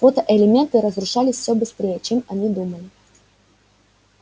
фотоэлементы разрушались всё быстрее чем они думали